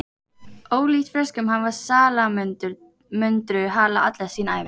ólíkt froskum hafa salamöndrur hala alla sína ævi